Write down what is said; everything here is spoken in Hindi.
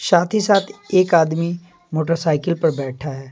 साथ ही साथ एक आदमी मोटरसाइकिल पर बैठा है।